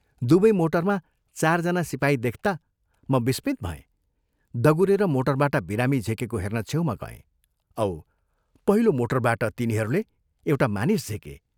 दुवै मोटरमा चारजना सिपाही देखता म विस्मित भएँ दगुरेर मोटरबाट बिरामी झिकेको हेर्न छेउमा गएँ औ पहिलो मोटरबाट तिनीहरूले एउटा मानिस झिके।